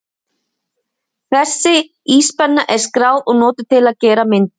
Þessi íspenna er skráð og notuð til að gera myndir.